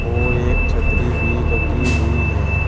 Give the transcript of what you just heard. और एक छतरी भी लगी हुई है।